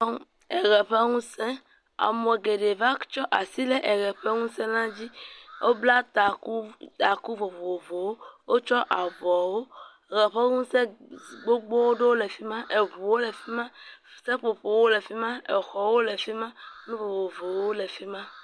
Eʋe ƒe ŋuse, ame geɖewo va tsɔ asi ɖe eʋe ƒe ŋusẽ dzi, wobla taku taku vovovowo wotsɔ avɔwo, eʋe ƒe ŋusẽ s…gbogbowo ɖewo le fi ma, exɔwo le fi ma, nu vovovowo le fi ma.